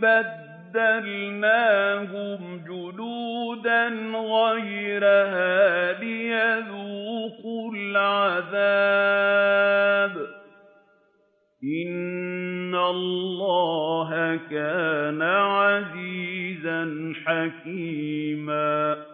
بَدَّلْنَاهُمْ جُلُودًا غَيْرَهَا لِيَذُوقُوا الْعَذَابَ ۗ إِنَّ اللَّهَ كَانَ عَزِيزًا حَكِيمًا